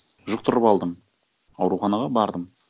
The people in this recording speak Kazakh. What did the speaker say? жұқтырып алдым ауруханаға бардым